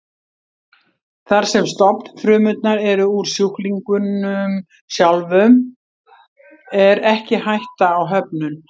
Þar sem stofnfrumurnar eru úr sjúklingnum sjálfum er ekki hætta á höfnun.